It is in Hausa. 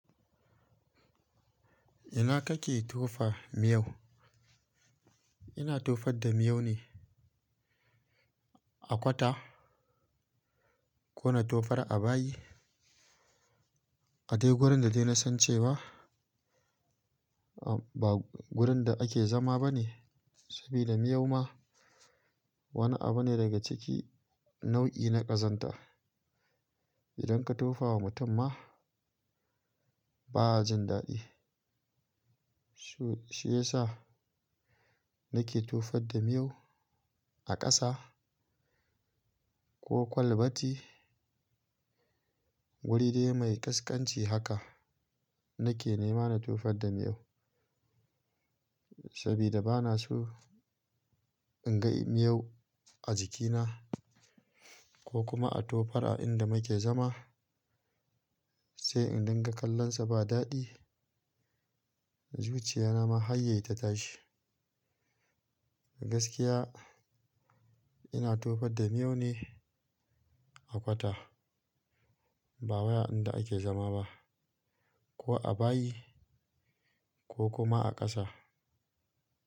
Ina kake tofa miyau? Ina tofar da miyau ne a kwata ko na tofar a bayi. A dai gurin da dai na san cewa ba gurin da ake zama ba ne. Sabida miyau ma wani abu ne daga cikin nau'i na ƙazanta. Idan ka tofa wa mutum ma ba a jin daɗi. Shi ya sa nake tofar da miyau a ƙasa ko kwalbati, wuri dai mai ƙasƙanci haka nake nema na tofar da miyau. Sabida ba na so in ga miyau a jikina ko kuma a tofar a inda muke zama. Sai in dinga kallon sa ba daɗi, zuciya na ma hayyai ta tashi. Gaskiya ina tofar da miyau ne a kwata ba wai a inda ake zama ba ko a bayi ko kuma a ƙasa.